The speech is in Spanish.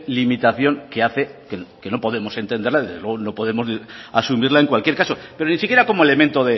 limitación que hace que no podemos entenderla desde luego no podemos asumirla en cualquier caso pero ni siquiera como elemento